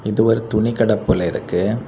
இது ஒரு துணிக்கட போல இருக்கு.